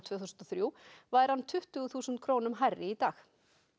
tvö þúsund og þrjú væri hann tuttugu þúsund krónum hærri í dag